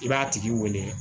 I b'a tigi wele